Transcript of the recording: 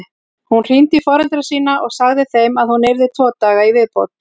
Hún hringdi í foreldra sína og sagði þeim að hún yrði tvo daga í viðbót.